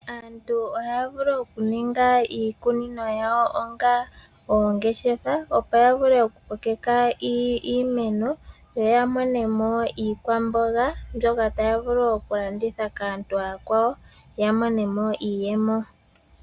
Aantu ohaya vulu okuninga iikunino yawo onga oongeshefa, opo ya vule okukokeka iimeno. Yo ya mone mo iikwamboga mbyoka taya vulu okulanditha kaantu aakwawo, ya mone mo iiyemo.